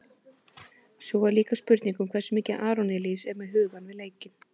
Svo er líka spurning hversu mikið Aron Elís er með hugann við leikinn?